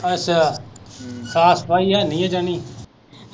ਅੱਛਾ, ਸਾਫ ਸਫਾਈ ਹੈਨੀ ਆ ਯਨੀ।